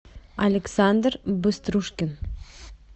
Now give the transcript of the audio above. александр быструшкин